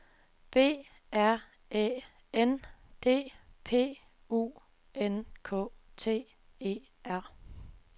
B R Æ N D P U N K T E R